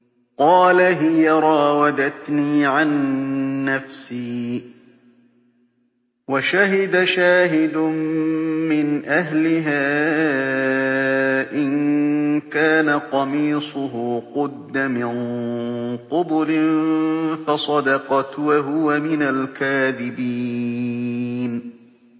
قَالَ هِيَ رَاوَدَتْنِي عَن نَّفْسِي ۚ وَشَهِدَ شَاهِدٌ مِّنْ أَهْلِهَا إِن كَانَ قَمِيصُهُ قُدَّ مِن قُبُلٍ فَصَدَقَتْ وَهُوَ مِنَ الْكَاذِبِينَ